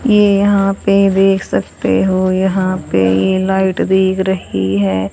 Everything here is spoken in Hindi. ये यहां पे देख सकते हो यहां पे ये लाइट दिख रही है।